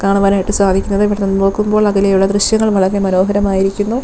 കാണുവാൻ ആയിട്ട് സാധിക്കുന്നത് ഇവിടെ നോക്കുമ്പോൾ അതിലെയുള്ള ദൃശ്യങ്ങൾ വളരെ മനോഹരമായിരിക്കുന്നു.